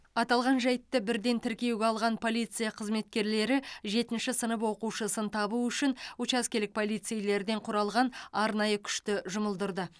аталған жайтты бірден тіркеуге алған полиция қызметкерлері жетінші сынып оқушысын табу үшін учаскелік полицейлерден құралған арнайы күшті жұмылдырды